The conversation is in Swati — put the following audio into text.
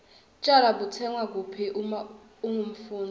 tjwala butsengwa kuphi uma ungumfundzi